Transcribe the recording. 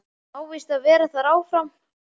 Hún á víst að vera þar áfram